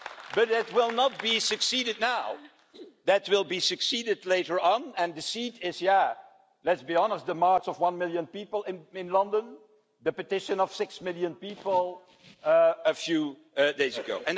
But it will not be succeeded now. It will be succeeded later on, and the seed is there let's be honest in the march by one million people in London and the petition by six million people a few days ago.